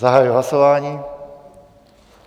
Zahajuji hlasování.